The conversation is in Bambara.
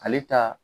Ale ta